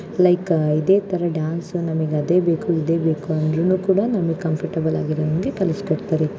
Like ಇದೇ ತರ dance ನಮಿಗ್ ಅದೇ ಬೇಕು ಇದೇ ಬೇಕು ಅಂದ್ರೂನು ಕೂಡ ನಮಿಗ್ ಕಂಪರ್ಟಬಲ್ ಆಗಿರೋಹಂಗೆ ಕಲುಸ್ಕೊಡ್ತಾರೆ.